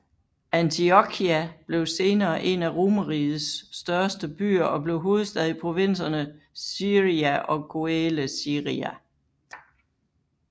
Antiokia blev senere en af Romerrigets største byer og blev hovedstad i provinserne Syria og Coele Syria